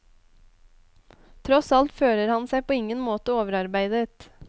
Tross alt føler han seg på ingen måte overarbeidet.